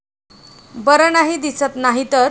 बर नाही दिसत नाहीतर!